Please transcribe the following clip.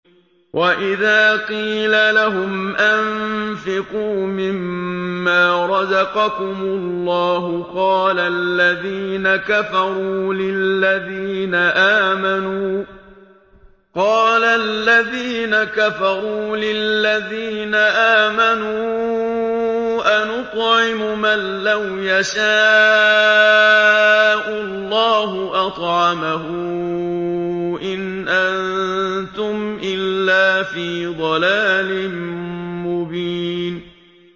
وَإِذَا قِيلَ لَهُمْ أَنفِقُوا مِمَّا رَزَقَكُمُ اللَّهُ قَالَ الَّذِينَ كَفَرُوا لِلَّذِينَ آمَنُوا أَنُطْعِمُ مَن لَّوْ يَشَاءُ اللَّهُ أَطْعَمَهُ إِنْ أَنتُمْ إِلَّا فِي ضَلَالٍ مُّبِينٍ